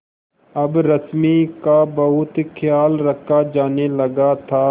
अब रश्मि का बहुत ख्याल रखा जाने लगा था